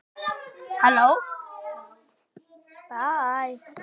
Þeir sáu hann ekki skýrt.